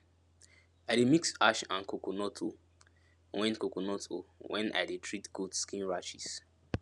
i dey mix ash and coconut o wen coconut o wen i dey treat goat skin rashes